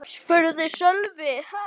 spurði Sölvi.